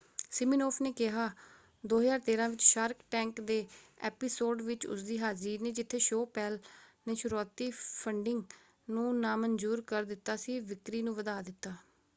Siminoff ਨੇ ਕਿਹਾ 2013 ਵਿੱਚ ਸ਼ਾਰਕ ਟੈਂਕ ਦੇ ਐਪੀਸੋਡ ਵਿੱਚ ਉਸਦੀ ਹਾਜ਼ਰੀ ਨੇ ਜਿੱਥੇ ਸ਼ੋਅ ਪੈੰਲ ਨੇ ਸ਼ੁਰੂਆਤੀ ਫੰਡਿੰਗ ਨੂੰ ਨਾਮਨਜ਼ੂਰ ਕਰ ਦਿੱਤਾ ਸੀ ਵਿਕਰੀ ਨੂੰ ਵਧਾ ਦਿੱਤਾ।